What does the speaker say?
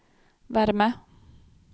värme